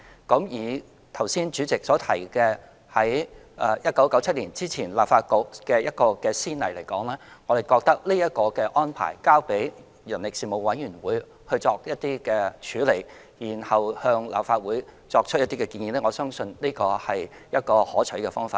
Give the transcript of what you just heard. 剛才主席提到，在1997年之前立法局的一個先例而言，我們覺得這個安排，即交付人力事務委員會作處理，然後向立法會作出建議，我相信這是一個可取的方法。